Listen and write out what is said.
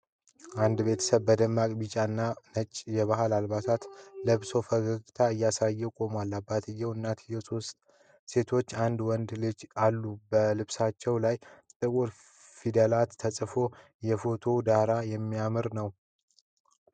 አንድ ቤተሰብ በደማቅ ቢጫ እና ነጭ የባህል ልብስ ለብሶ ፈገግታ እያሳየ ቆሟል። አባትየው፣ እናትየው፣ ሦስት ሴቶችና አንድ ወንድ ልጅ አሉ። በልብሶቻቸው ላይ ጥቁር ፊደላት ተጽፈዋል። የፎቶው ዳራ ያማረ ነው።